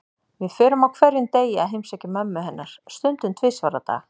Við förum á hverjum degi að heimsækja mömmu hennar, stundum tvisvar á dag.